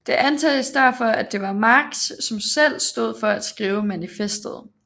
Det antages derfor at det var Marx som selv stod for at skrive manifestet